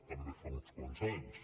també fa uns quants anys